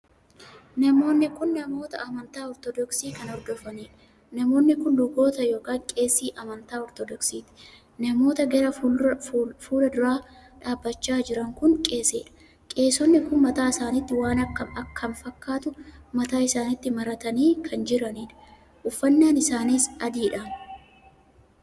Namoonni kun namoota amantaa ortodoksii kan hordofaniidha. namoonni kun luboota ykn qeesii amantaa ortodoksiiti. namoo gara fuula duraa dhaabbachaa jiran kun qeesiidha. qeesonni kun mataa isaaniitti waan akkam kan fakkaatu mataa isaaniitti maratanii kan jiradha. uffannaan isaanis adiidhaam!